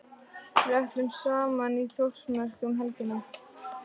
Við ætlum saman í Þórsmörk um helgina.